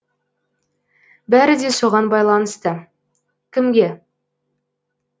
бәрі де соған байланысты кімге